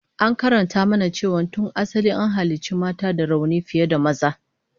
An karanta mana cewa tun asali an halicci mata da rauni fiye da maza